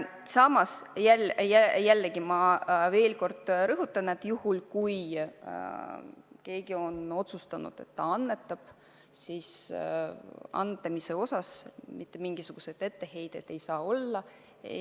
Samas ma veel kord rõhutan, et juhul kui keegi on otsustanud, et ta annetab konkreetsesse kohta, siis mitte mingisuguseid etteheiteid ei saa olla.